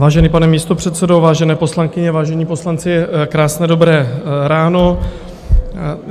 Vážený pane místopředsedo, vážené poslankyně, vážení poslanci, krásné dobré ráno.